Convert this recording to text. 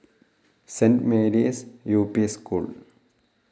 Saint Mary's U P school